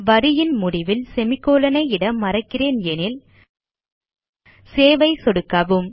வரியின் முடிவில் செமிகோலன் ஐ இட மறக்கிறேன் எனில் சேவ் ஐ சொடுக்கவும்